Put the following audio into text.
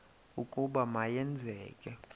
ukuba ma yenzeke